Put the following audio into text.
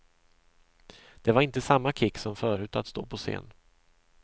Det var inte samma kick som förut att stå på scen.